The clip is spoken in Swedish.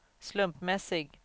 slumpmässig